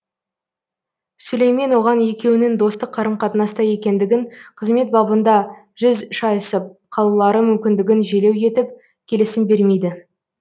сүлеймен оған екеуінің достық қарым қатынаста екендігін қызмет бабында жүз шайысып қалулары мүмкіндігін желеу етіп келісім бермейді